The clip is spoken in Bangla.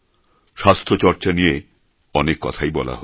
স্বাস্থ্যচর্চা নিয়ে অনেক কথাই বলা হল